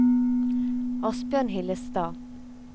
Asbjørn Hillestad